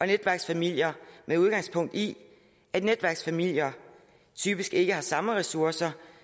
netværksfamilier med udgangspunkt i at netværksfamilier typisk ikke har samme ressourcer